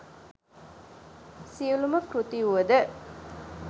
සියලුම කෘති වුවද